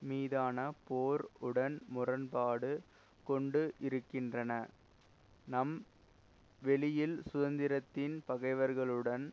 மீதான போர் உடன் முரண்பாடு கொண்டு இருக்கின்றன நம் வெளியில் சுதந்திரத்தின் பகைவர்களுடன்